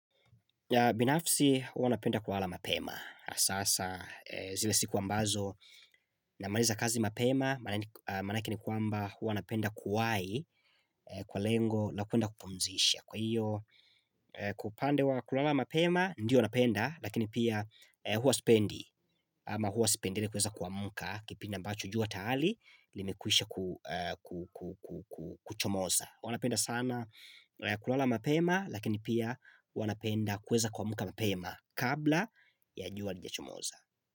Binafsi huwanapenda kulala mapema Sasa zile siku ambazo namaliza kazi mapema Manake ni kwamba huwanapenda kuwai kwa lengo la kwenda kupumzisha Kwa hiyo upande wa kulala mapema ndiyo napenda Lakini pia huwasipendi ama huwasipendelei kweza kuamka Kipindi ambacho jua tayari limekwisha kuchomoza huwanapenda sana kulala mapema lakini pia huwanapenda kweza kwamka mapema kabla ya jua halija chomoza.